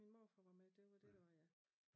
Min morfar var med det var det der var ja